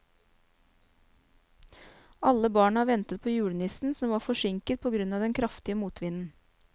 Alle barna ventet på julenissen, som var forsinket på grunn av den kraftige motvinden.